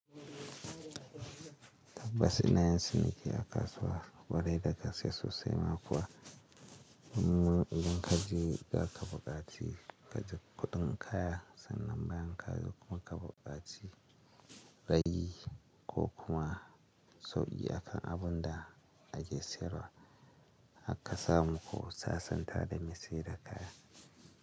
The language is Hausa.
Tabbas ina yin ciniki a kasuwa kwarai da gaske sosai ma kuwa. Wani idan kaji za ka buƙaci, kaji kuɗin kaya sannan bayan ka zo kuma ka buƙaci ragi ko kuma sauƙi akan abunda a ke sayarwa har ka samu ku sasanta da mai sayar da kaya.